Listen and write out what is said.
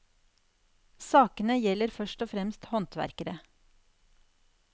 Sakene gjelder først og fremst håndverkere.